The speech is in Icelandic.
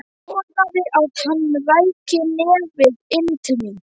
Vonaði að hann ræki nefið inn til mín.